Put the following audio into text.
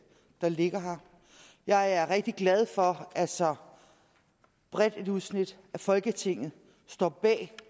der ligger her jeg er rigtig glad for at så bredt et udsnit af folketinget står bag